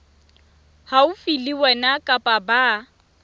haufi le wena kapa ba